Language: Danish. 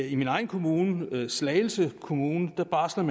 i min egen kommune slagelse kommune barsles